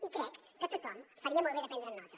i crec que tothom faria molt bé de prendre’n nota